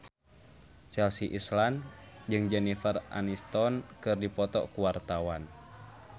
Chelsea Islan jeung Jennifer Aniston keur dipoto ku wartawan